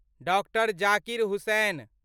doctor Zakir Hussain